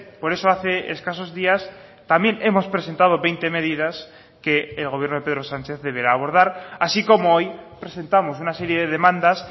por eso hace escasos días también hemos presentado veinte medidas que el gobierno de pedro sánchez deberá abordar así como hoy presentamos una serie de demandas